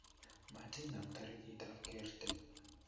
Matinam toritikab kertii